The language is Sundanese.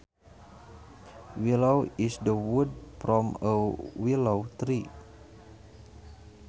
Willow is the wood from a willow tree